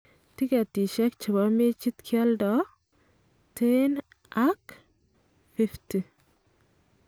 Tiketishek chebo mechit kioldo�10 ak � 50.